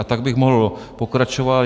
A tak bych mohl pokračovat.